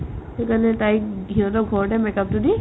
সেইটো কাৰণে তাইক সিহঁতৰ ঘৰতে make-up তো দি